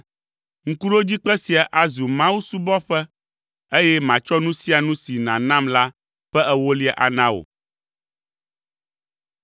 Ŋkuɖodzikpe sia azu mawusubɔƒe, eye matsɔ nu sia nu si nànam la ƒe ewolia ana wò!”